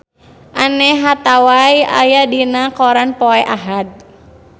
Anne Hathaway aya dina koran poe Ahad